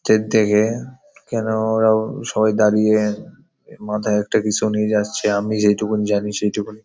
Train থেকে কেন ওরাও সবাই দাঁড়িয়ে মাথায় একটা কিছু নিয়ে যাচ্ছে। আমি যেই টুকুন জানি সেই টুকুন --